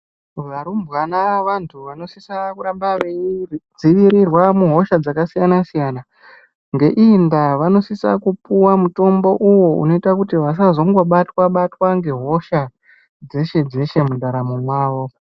Varumbwana vantu vano sisa kuramba veyi dzivirirwa mu hosha dzaka siyana siyana ngeiyi ndaa vanosisa kupuwa mutombo uwo unoita kuti vasazongo batwa batwa nge hosha dzeshe dzeshe mu ndaramo mwawo.